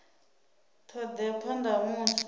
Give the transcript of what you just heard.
ṱho ḓea phanḓa ha musi